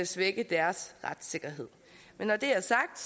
svække deres retssikkerhed når det er sagt